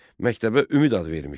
Məktəbə Ümid adı vermişdi.